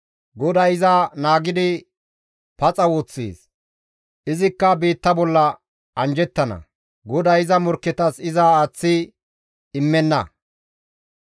GODAY iza naagidi paxa woththees; izikka biitta bolla anjjettana; GODAY iza morkketas iza aaththidi immenna.